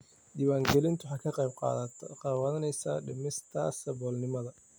Diiwaangelintu waxay ka qayb qaadanaysaa dhimista saboolnimada.